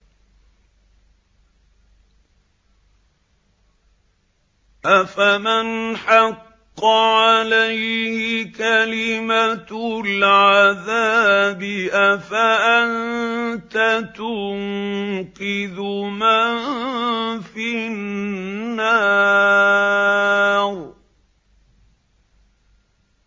أَفَمَنْ حَقَّ عَلَيْهِ كَلِمَةُ الْعَذَابِ أَفَأَنتَ تُنقِذُ مَن فِي النَّارِ